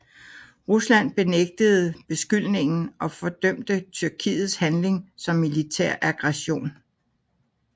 Rusland benægtede beskyldningen og fordømte Tyrkiets handling som militær aggression